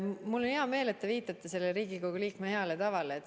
Mul on hea meel, et te viitate Riigikogu liikme heale tavale.